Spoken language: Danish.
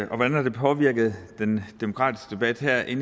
hvordan har det påvirket den demokratiske debat her i